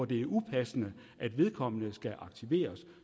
det er upassende at vedkommende skal aktiveres